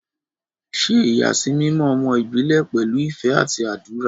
Ṣe ìyàsímímọ́ ọmọ ìbílẹ̀ pẹ̀lú ìfẹ́ àti àdúrà.